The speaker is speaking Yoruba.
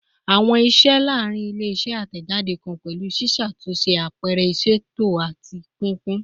Awọn iṣẹ laarin ile-iṣẹ atẹjade kan pẹlu ṣiṣatunṣe, ṣiṣatunṣe, apẹrẹ iṣeto, ati pinpin